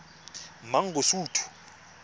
mangosuthu